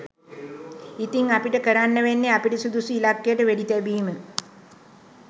ඉතිං අපිට කරන්න වෙන්නෙ අපිට සුදුසු ඉලක්කයට වෙඩිතැබීම